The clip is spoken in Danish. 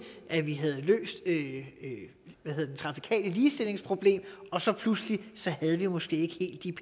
at vi havde løst det trafikale ligestillingsproblem og så pludselig havde vi måske ikke helt de